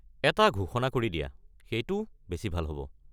এটা ঘোষণা কৰি দিয়া, সেইটো বেছি ভাল হ'ব।